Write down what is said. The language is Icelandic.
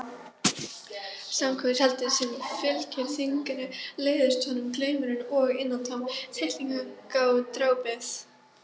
Samkvæmishaldið sem fylgir þinginu leiðist honum, glaumurinn og innantómt tittlingadrápið.